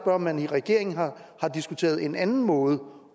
om man i regeringen har diskuteret en anden måde